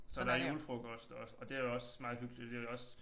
Så der julefrokost og og det er også meget hyggeligt det også